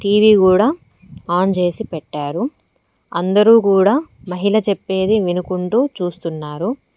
TV కూడా on చేసి పెట్టారు అందరూ కూడా మహిళ చెప్పేది వినుకుంటూ చూస్తున్నారు.